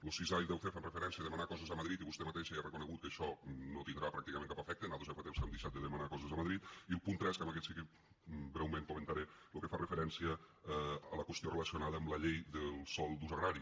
nar coses a madrid i vostè mateixa ja ha reconegut que això no tindrà pràcticament cap efecte nosaltres ja fa temps que hem deixat de demanar coses a madrid i el punt tres que aquest sí que breument comentaré lo que fa referència a la qüestió relacionada amb la llei del sòl d’ús agrari